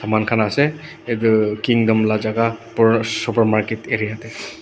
manu khan ase itu kingdom la jagah per supermarket area tey.